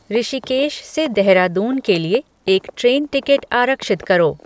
ऋषिकेश से देहरादून के लिए एक ट्रेन टिकट आरक्षित करो